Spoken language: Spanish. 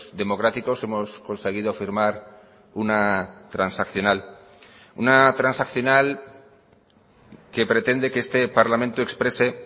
democráticos hemos conseguido firmar una transaccional una transaccional que pretende que este parlamento exprese